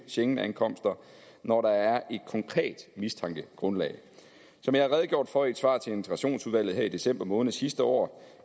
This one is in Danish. schengenankomster når der er et konkret mistankegrundlag som jeg har redegjort for i et svar til integrationsudvalget i december måned sidste år